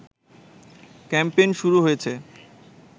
campaign শুরু হয়েছে